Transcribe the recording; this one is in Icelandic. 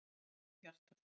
Svo fór hjartað.